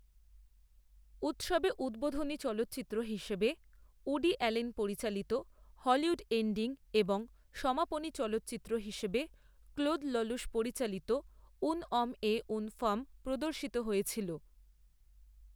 উৎসবে উদ্বোধনী চলচ্চিত্র হিসেবে উডি অ্যালেন পরিচালিত হলিউড এন্ডিং এবং সমাপনী চলচ্চিত্র হিসেবে ক্লোদ ল্যলুশ পরিচালিত উ্যন অম এ উ্যন ফাম প্রদর্শিত হয়েছিল।